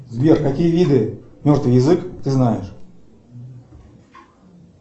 сбер какие виды мертвый язык ты знаешь